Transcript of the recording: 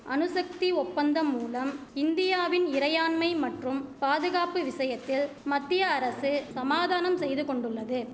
அணுசக்தி ஒப்பந்தம்மூலம் இந்தியாவின் இறையாண்மை மற்றும் பாதுகாப்பு விஷயத்தில் மத்திய அரசு சமாதானம் செய்து கொண்டுள்ளது